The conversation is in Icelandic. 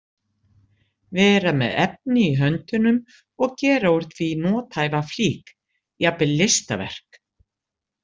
Vera með efni í höndunum og gera úr því nothæfa flík, jafnvel listaverk.